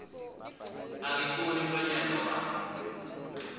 angifuni mlonyana wakho